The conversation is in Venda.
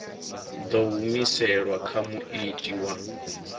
ḓo humiselwa kha muiti wa